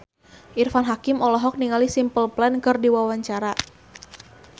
Irfan Hakim olohok ningali Simple Plan keur diwawancara